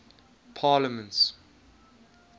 parliaments